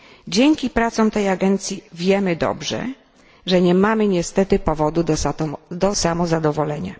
Dzięki pracom tej agencji wiemy dobrze, że nie mamy niestety powodu do samozadowolenia.